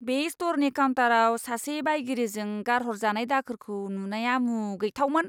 बे स्ट'रनि काउन्टाराव सासे बायगिरिजों गारहरजानाय दाखोरखौ नुनाया मुगैथावमोन!